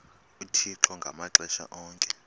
uthixo ngamaxesha onke